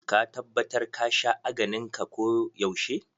Ka tabbatar ka sha aganin ka ko yaushe.